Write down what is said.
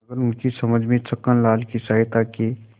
मगर उनकी समझ में छक्कनलाल की सहायता के